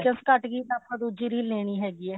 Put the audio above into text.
by chance ਘੱਟ ਗਈ ਤਾਂ ਆਪਾਂ ਦੁੱਜੀ ਰੀਲ ਲੇਣੀ ਹੈਗੀ ਹੈ